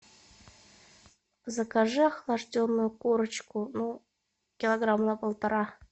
закажи охлажденную курочку ну килограмма на полтора